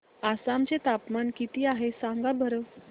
आसाम चे तापमान किती आहे सांगा बरं